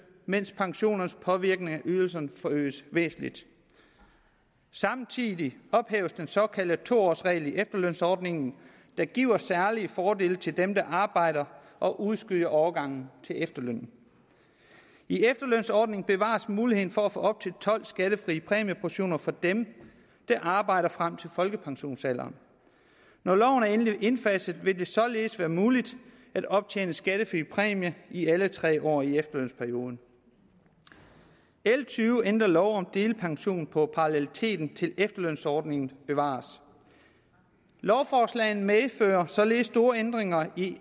mens pensionernes påvirkning af ydelserne forøges væsentligt samtidig ophæves den såkaldte to års regel i efterlønsordningen der giver særlige fordele til dem der arbejder og udskyder overgangen til efterløn i efterlønsordningen bevares muligheden for at få op til tolv skattefrie præmieportioner for dem der arbejder frem til folkepensionsalderen når loven er endelig indfaset vil det således være muligt at optjene en skattefri præmie i alle tre år i efterlønsperioden l tyve ændrer lov om delpension og paralleliteten til efterlønsordningen bevares lovforslagene medfører således store ændringer i